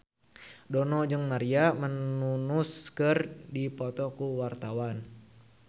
Dono jeung Maria Menounos keur dipoto ku wartawan